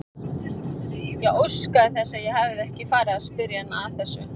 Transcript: Ég óskaði þess að ég hefði ekki farið að spyrja hana að þessu.